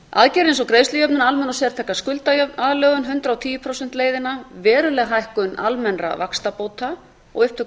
eins og greiðslujöfnunar almenna og sértæka skuldaaðlögun hundrað og tíu prósent leiðina verulega hækkun almennra vaxtabóta og upptöku